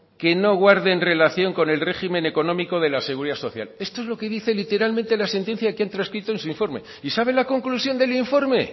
que no guarden relación con el régimen económico de la seguridad social esto es lo que dice literalmente la sentencia que han transcrito en su informe y saben la conclusión del informe